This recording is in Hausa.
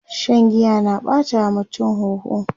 Shan giya na ɓata wa mutum huhu